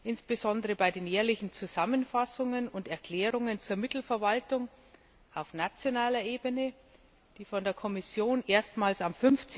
Insbesondere bei den jährlichen Zusammenfassungen und Erklärungen zur Mittelverwaltung auf nationaler Ebene, die uns von der Kommission erstmals am